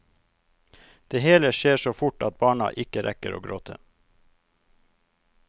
Det hele skjer så fort at barna ikke rekker å gråte.